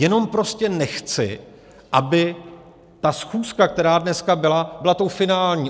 Jenom prostě nechci, aby ta schůzka, která dneska byla, byla tou finální.